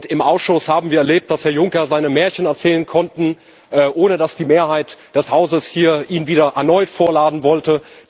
Im Ausschuss haben wir erlebt, dass Herr Juncker seine Märchen erzählen konnte, ohne dass die Mehrheit des Hauses hier ihn erneut vorladen wollte.